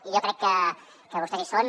i jo crec que vostès hi són